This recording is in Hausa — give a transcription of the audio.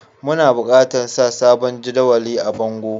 Muna bukatan sa sabon jadawalin a bongo.